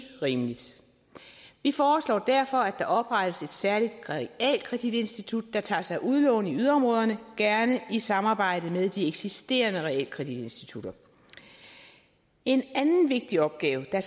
rimeligt vi foreslår derfor at der oprettes et særligt realkreditinstitut der tager sig af udlån i yderområderne gerne i samarbejde med de eksisterende realkreditinstitutter en anden vigtig opgave der